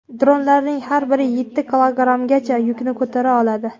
Dronlarning har biri yetti kilogrammgacha yukni ko‘tara oladi.